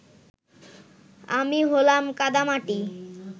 আমি হলাম কাদামাটি।